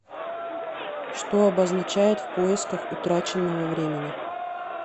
что обозначает в поисках утраченного времени